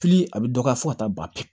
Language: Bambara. Fili a bɛ dɔgɔya fo ka taa ban pewu